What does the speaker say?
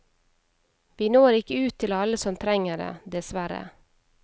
Vi når ikke ut til alle som trenger det, dessverre.